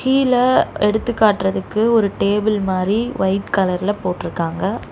கீழ எடுத்துக்காட்டுறதுக்கு ஒரு டேபிள் மாரி வைட் கலர்ல போட்ருக்காங்க.